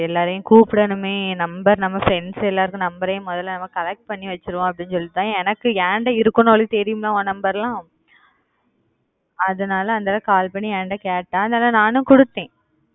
எல்லாரையும் கூப்பிடணுமே number நம்ம friends எல்லார்தும் number உம் முதல நம்ம collect பண்ணி வச்சிப்போம்னு அப்படி சொல்ட்டுதா எனக்கு ஏண்ட இருக்கும்ன்னு அவளுக்கு தெரியும்ல உன் number லாம் அதனால அந்தாள call பண்ணி என்கிட்ட கேட்டா நானும் கொடுத்தன்